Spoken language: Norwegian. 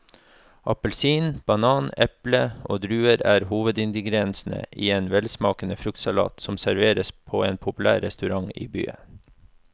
Appelsin, banan, eple og druer er hovedingredienser i en velsmakende fruktsalat som serveres på en populær restaurant i byen.